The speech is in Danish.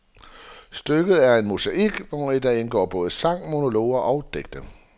Stykket er en mosaik, hvori der indgår både sange, monologer og digte.